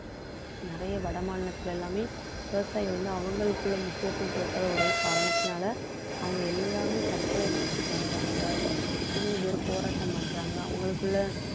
நிறைய வடமாநிலத்தில எல்லாமே விவசாயிகள் வந்து அவங்களுக்குள்ள முக்கியத்துவம் கொடுக்காத ஒரே காரணத்தினால அவங்க எல்லாமே தற்கொலை முயற்சி பண்றாங்க எத்தனையோ பேர் போராட்டம் பண்றாங்க அவங்களுக்குள்ள